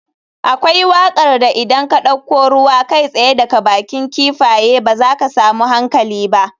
Akwai wakar da idan ka dauko ruwa kai tsaye daga bakin kifaye ba za ka samu hankali ba.